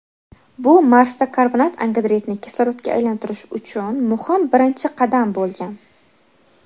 bu Marsda karbonat angidridni kislorodga aylantirish uchun muhim birinchi qadam bo‘lgan.